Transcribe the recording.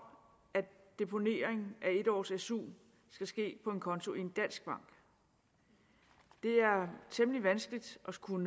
at deponering af en års su skal ske på en konto i en dansk bank det er temmelig vanskeligt at skulle